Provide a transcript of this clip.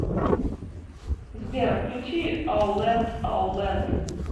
сбер включи оу лэнд оу лэнд